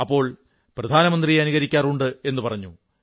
അപ്പോൾ പ്രധാനമന്ത്രിയെ അനുകരിക്കാറുണ്ട് എന്നു പറഞ്ഞു